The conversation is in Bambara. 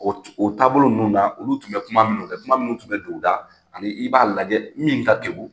O o taabolo ninnu na, olu tun bɛ kuma minnu kɛ, kuma minnu tun bɛ don o da. Ani i b'a lajɛ min ka kekun,